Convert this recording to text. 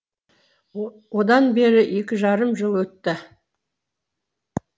одан бері екі жарым жыл өтті